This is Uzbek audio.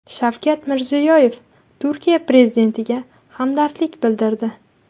Shavkat Mirziyoyev Turkiya prezidentiga hamdardlik bildirdi.